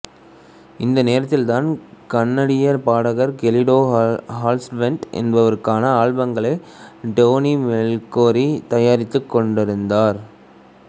இந்த நேரத்தில்தான் கனடிய பாடகர் கெலிட்டா ஹாவர்லேண்ட் என்பவருக்கான ஆல்பங்களை டோனி மிக்லோரி தயாரித்துக் கொண்டிருந்தார்